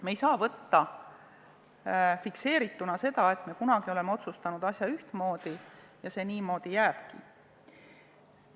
Me ei saa võtta fikseerituna seda, et me kunagi oleme otsustanud asja ühtmoodi ja see niimoodi jääbki.